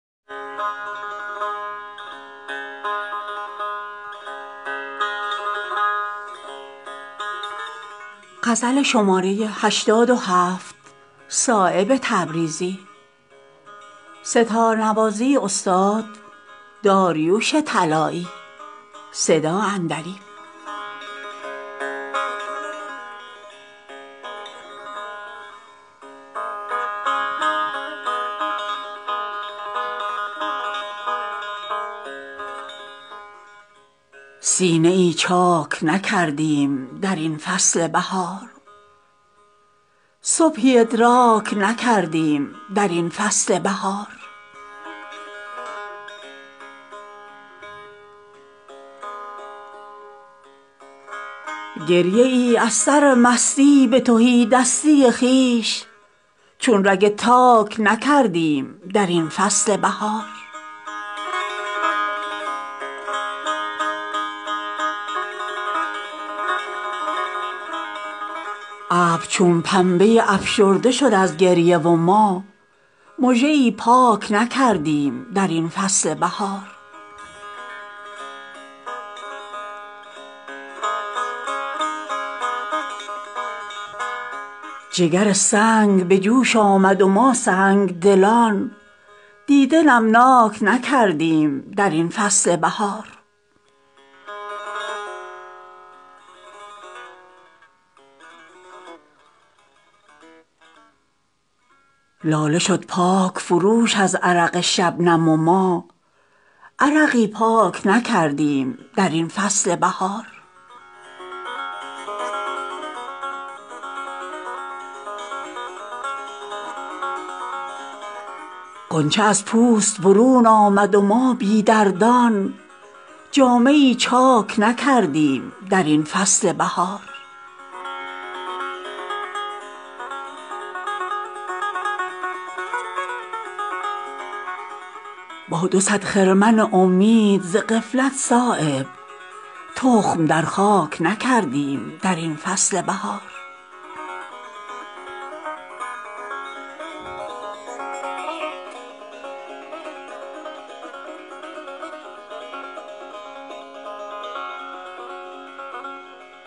نکشیدیم شرابی به رخ تازه صبح سینه ای چاک نکردیم به اندازه صبح عیش امروز علاج غم فردا نکند مستی شب ندهد سود به خمیازه صبح هر سری را نکشد دار فنا در آغوش سر خورشید سزد شمسه دروازه صبح نکند طول امل چاره کوتاهی عمر نشود تار نفس رشته شیرازه صبح دولت سرد نفس زود به سر می آید که بود یک دو نفس مستی جمازه صبح پیش چشمی که دل زنده شب را دریافت چون گل روی مزارست رخ تازه صبح گر دل زنده چو خورشید تمنا داری بشنو از صایب ما این غزل تازه صبح